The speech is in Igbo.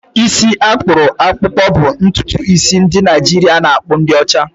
Isi akpuru akpukpo bụ ntutu isi ndị Naijiria na-akpụ di ocha.